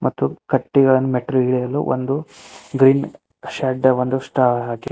ಮತ್ತು ಕಟ್ಟಿಗಳನ್ನು ಮೆಟ್ಟಿಲು ಇಳಿಯಲು ಒಂದು ಗ್ರೀನ್ ಶಡ್ಡವನ್ನು ಒಂದು ಷ್ಟ--